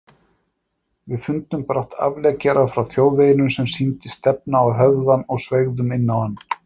Við fundum brátt afleggjara frá þjóðveginum sem sýndist stefna á höfðann og sveigðum inná hann.